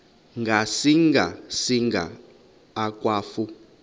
ngasinga singa akwafu